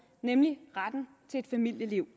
nemlig retten til et familieliv